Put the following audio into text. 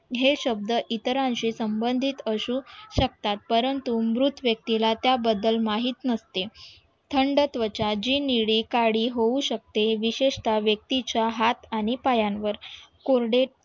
हे शब्द इतरांशी संबंधित असू शकतात परंतु मृत व्यक्तीला त्याबद्दल माहीत नसते थंड त्वचा जी निळी काळी होऊ शकते. विशेषता व्यक्तीच्या हात आणि पायांवर कोरडे